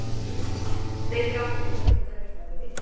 Þeir gáfu mér þetta tækifæri